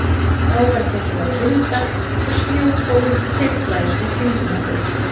Þá var tekið að vinda og snjókófið þyrlaðist í kringum okkur.